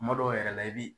Kuma dɔw yɛrɛ la i bi